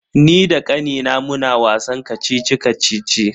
Ni da kannina muna wasan kacici-kacici.